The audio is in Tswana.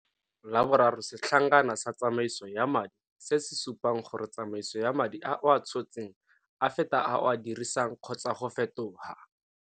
La boraro setlhankana sa tsamaiso ya madi se se supang gore tsamaiso ya madi a o a tshotseng a feta a o a dirisang kgotsa go fetoga.